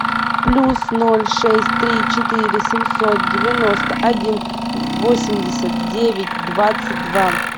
плюс ноль шесть три четыре семьсот девяносто один восемьдесят девять двадцать два